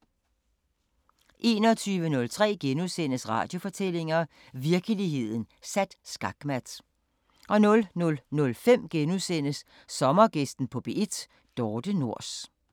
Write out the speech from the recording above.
21:03: Radiofortællinger: Virkeligheden sat skakmat * 00:05: Sommergæsten på P1: Dorthe Nors *